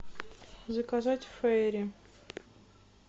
заказать ферри